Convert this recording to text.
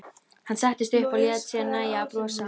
Hann settist upp og lét sér nægja að brosa.